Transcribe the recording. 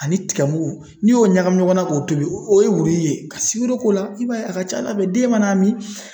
Ani tika muku n'i y'o ɲagami ɲɔgɔn na k'o tobi, o ye wuriyi ye .Ka sikoro k'o la i b'a ye a ka ca ala fɛ den mana mi